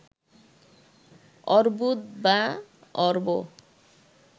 অর্বুদ বা অর্ব